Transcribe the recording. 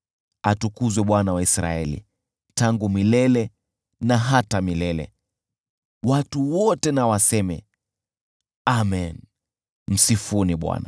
Atukuzwe Bwana , Mungu wa Israeli, tangu milele na hata milele. Watu wote na waseme, “Amen!” Msifuni Bwana .